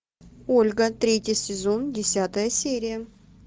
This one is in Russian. ольга третий сезон десятая серия